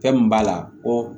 Fɛn min b'a la ko